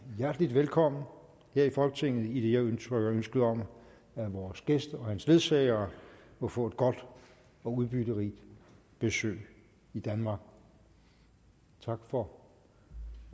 hjertelig velkommen her i folketinget idet jeg udtrykker ønske om at vores gæst og hans ledsagere må få et godt og udbytterigt besøg i danmark tak for